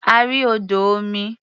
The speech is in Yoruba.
A rí odò omi.